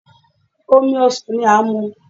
Omi ọsan ni a n mu